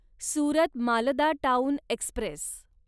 Surat Malda town Express